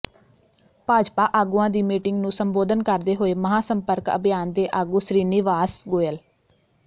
ਭਾਜਪਾ ਆਗੂਆਂ ਦੀ ਮੀਟਿੰਗ ਨੂੰ ਸੰਬੋਧਨ ਕਰਦੇ ਹੋਏ ਮਹਾਂ ਸੰਪਰਕ ਅਭਿਆਨ ਦੇ ਆਗੂ ਸ੍ਰੀਨਿਵਾਸ ਗੋਇਲ